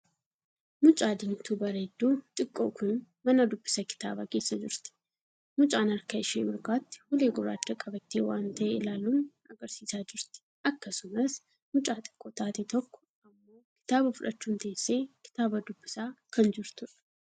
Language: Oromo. Mucaa diimtuu bareedduu xiqqoo kun mana dubbisa kitaaba keessa jirti. mucaan harka ishee mirgaatti ulee gurraachaa qabattee waan tahee ilaaluun agarsiisaa jirti. akkasumas mucaa xiqqoo taate tokko ammo kitaa fudhachuun teessee kitaaba dubbisaa kan jirtuudha.